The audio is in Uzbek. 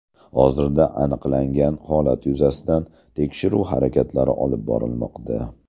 Hozirda aniqlangan holat yuzasidan tekshiruv harakatlari olib borilmoqda.